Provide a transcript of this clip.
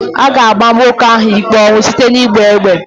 A ga-ama nwoke ahụ ikpe ọnwụ site n'ịgba egbe.